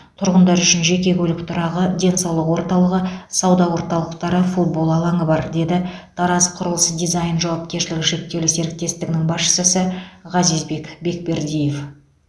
тұрғындар үшін жеке көлік тұрағы денсаулық орталығы сауда орталықтары футбол алаңы бар деді тараз құрылыс дизайн жауапкершілігі шектеулі серіктестігінің басшысы ғазизбек бекбердиев